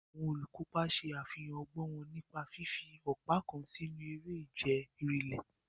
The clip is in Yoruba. Àwọn olùkópa ṣe àfihàn ọgbọ́n wọn nípa fífi ọ̀pá kan sínú eré ìje rìléè.